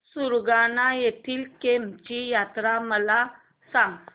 सुरगाणा येथील केम्ब ची यात्रा मला सांग